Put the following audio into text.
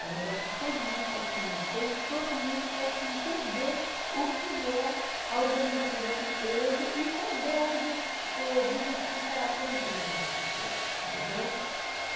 É um negócio que todo mundo pode conhecer e todo mundo pode entender o que é a organização dessa empresa e também o objetivo o objetivo que ela tem também para as pessoas, entendeu?